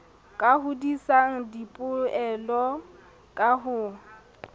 ka hodisang dipoelo ka ho